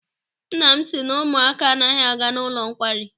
Nna m sị na ụmụaka anaghị aga n'ụlọ nkwari.